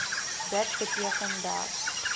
dit beteken dat